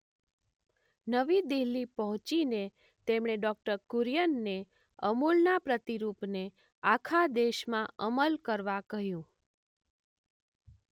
નવી દિલ્હી પહોંચીને તેમણે ડો.કુરિયન ને અમૂલના પ્રતિરૂપને આખા દેશમાં અમલ કરવા કહ્યું.